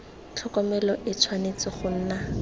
tlhokomelo e tshwanetse go nna